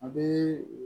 A bɛ